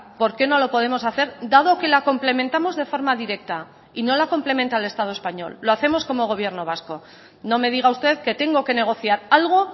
por qué no lo podemos hacer dado que la complementamos de forma directa y no la complementa el estado español lo hacemos como gobierno vasco no me diga usted que tengo que negociar algo